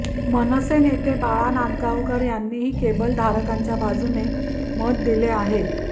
मनसे नेते बाळा नांदगावकर यांनीही केबल धारकांच्या बाजूने मत दिले आहे